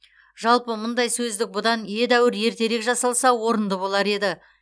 жалпы мұндай сөздік бұдан едәуір ертерек жасалса орынды болар еді